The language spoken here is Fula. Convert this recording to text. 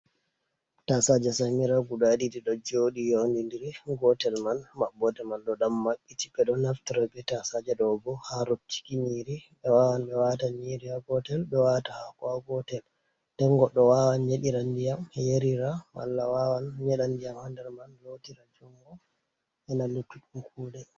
Tasaje samira guda didi do jodi yowindiri gotel man mabbode man do dam mabbiti be do naftaro be tasaja do bo ha rottiki nyiri be wawan be wata nyiri ha gotel be wata hako ha gotel nden godo wawan nyedira ndiyam yarira mala wawan nyeda diyam ha nder man lotira jungo bana luttuɗɗum kude.